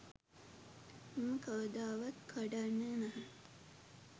මම කවදාවත් කඩන්නේ නැහැ.